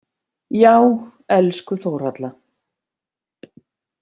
Já, elsku Þórhalla.